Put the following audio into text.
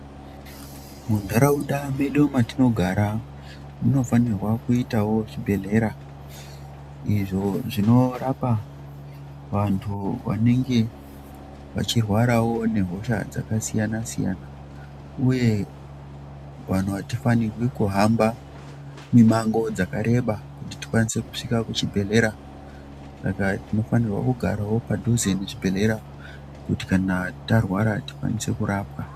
Muntaraunda medu matinogara munofanirwa kuitawo zvibhedhlera izvo zvinorapa vantu vanenge vachirwarawo nehosha dzakasiyana siyana, uye vanhu hatifanirwi kuhamba mimango dzakareba kuti tikwanise kusvika kuchibhedhlera, Saka tinofanirwa kugarawo padhuze nechibhedhlera kuti kana tarwara tikwanise kurapwa.